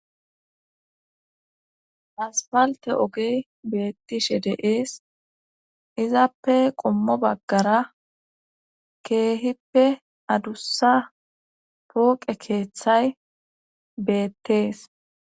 aspalte ogey beettishe de7ees izappe qommo baggara keehippe adussa pooqe keeththay beettees